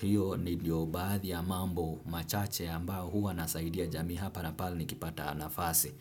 hiyo ndio baadhi ya mambo machache ambayo huwa nasaidia jamii hapa na pala nikipata nafasi.